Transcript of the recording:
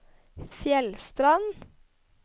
Fjellstrand